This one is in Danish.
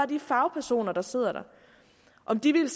de fagpersoner der sidder der om de ville